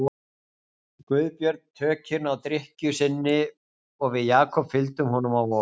Guðbjörn tökin á drykkju sinni og við Jakob fylgdum honum á Vog.